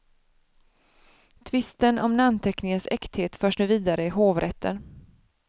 Tvisten om namnteckningens äkthet förs nu vidare i hovrätten.